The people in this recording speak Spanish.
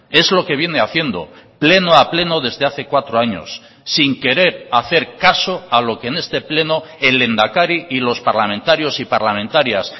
es lo que viene haciendo pleno a pleno desde hace cuatro años sin querer hacer caso a lo que en este pleno el lehendakari y los parlamentarios y parlamentarias